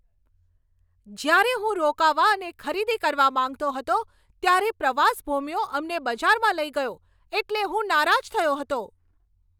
જ્યારે હું રોકાવા અને ખરીદી કરવા માંગતો હતો, ત્યારે પ્રવાસ ભોમિયો અમને બજારમાં લઈ ગયો એટલે હું નારાજ થયો હતો.